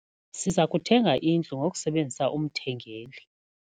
Siza kuthenga indlu ngokusebenzisa umthengeli.